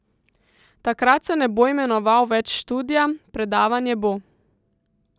Takrat se ne bo imenoval več študija, predavanje bo.